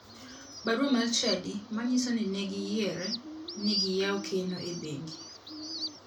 Barua mar chadi manyiso ni ne giyiere ni giyaw keno e bengi.